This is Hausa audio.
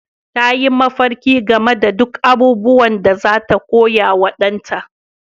Ta yi mafarki game da duk abubuwan da za ta koya wa ɗanta